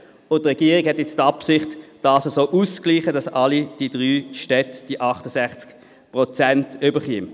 Die Regierung hat nun die Absicht dies so auszugleichen, dass alle drei Städte 68 Prozent erhalten.